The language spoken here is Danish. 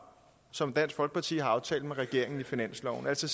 som dansk folkeparti har aftalt med regeringen i finansloven altså